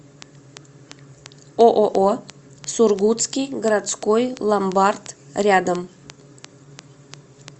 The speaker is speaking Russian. ооо сургутский городской ломбард рядом